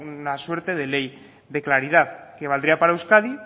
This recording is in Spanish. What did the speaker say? la suerte de ley de claridad que valdría para euskadi